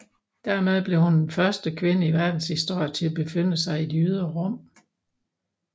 Dermed blev hun den første kvinde i verdenshistorien til at befinde sig i det ydre rum